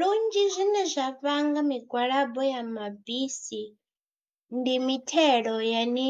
Lunzhi zwine zwa vhanga migwalabo ya mabisi ndi mithelo yane